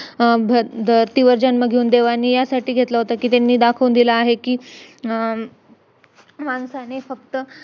धर्तीवर जन्म घेऊन देवाने यासाठी घेतला होता कि त्याने दाखवून दिल आहे कि माणसाने फक्त